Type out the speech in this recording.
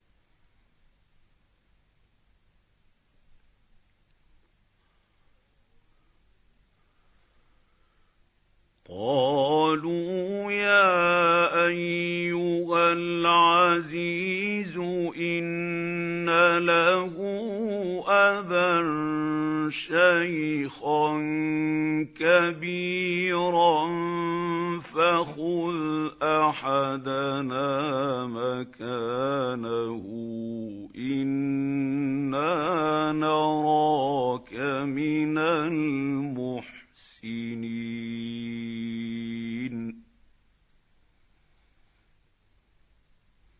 قَالُوا يَا أَيُّهَا الْعَزِيزُ إِنَّ لَهُ أَبًا شَيْخًا كَبِيرًا فَخُذْ أَحَدَنَا مَكَانَهُ ۖ إِنَّا نَرَاكَ مِنَ الْمُحْسِنِينَ